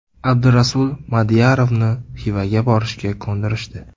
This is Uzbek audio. Abdurasul Madiyarovni Xivaga borishga ko‘ndirishdi.